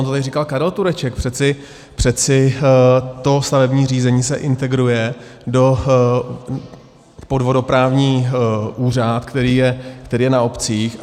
On to tady říkal Karel Tureček - přeci to stavební řízení se integruje pod vodoprávní úřad, který je na obcích.